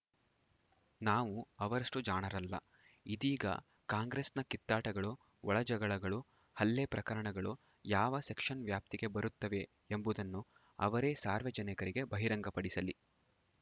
ನಾವು ಅವರಷ್ಟುಜಾಣರಲ್ಲ ಇದೀಗ ಕಾಂಗ್ರೆಸ್‌ನ ಕಿತ್ತಾಟಗಳು ಒಳಜಗಳಗಳು ಹಲ್ಲೆ ಪ್ರಕರಣಗಳು ಯಾವ ಸೆಕ್ಷನ್‌ ವ್ಯಾಪ್ತಿಗೆ ಬರುತ್ತವೆ ಎಂಬುದನ್ನು ಅವರೇ ಸಾರ್ವಜನಿಕರಿಗೆ ಬಹಿರಂಗಪಡಿಸಲಿ